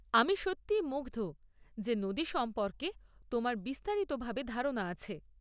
আমি সত্যিই মুগ্ধ যে নদী সম্পর্কে তোমার বিস্তারিতভাবে ধারণা আছে।